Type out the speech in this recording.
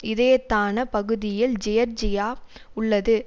இதயத்தான பகுதியில் ஜியர்ஜியா உள்ளது